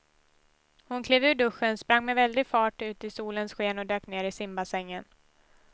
Hon klev ur duschen, sprang med väldig fart ut i solens sken och dök ner i simbassängen.